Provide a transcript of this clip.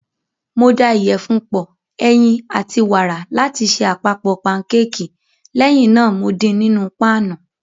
Mo da ìyẹ̀fun pọ, ẹyin, àti wàrà láti ṣe àpapọ̀ pankéèkì, lẹ́yìn náà mo din nínú páànù.